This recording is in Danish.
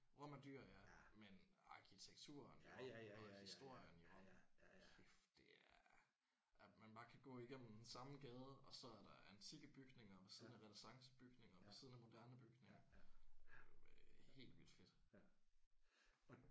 Rom er dyr ja. Men arkitekturen og og historien jo og kæft det er. At man bare kan gå igennem den samme gade og så er der antikke bygninger ved siden af renæssancebygninger moderne bygninger. Det er jo helt vildt fedt